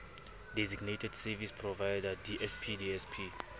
designated service provider dsp dsp